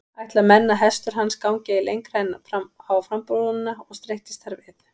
Ætla menn að hestur hans gengi ei lengra en á frambrúnina og streittist þar við.